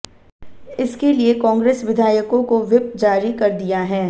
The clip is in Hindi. इसके लिए कांग्रेस विधायकों को व्हिप जारी कर दिया है